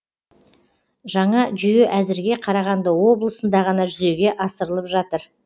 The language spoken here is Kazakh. жаңа жүйе әзірге қарағанды облысында ғана жүзеге асырылып жатыр